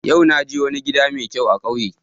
Yau na je wani gida mai kyau a kauye